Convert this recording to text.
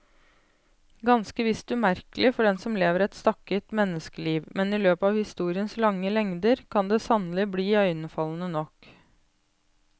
Ganske visst umerkelig for den som lever et stakket menneskeliv, men i løpet av historiens lange lengder kan det sannelig bli iøynefallende nok.